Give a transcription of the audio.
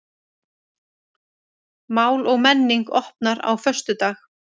Mál og menning opnar á föstudag